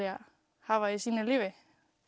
hafa í sínu lífi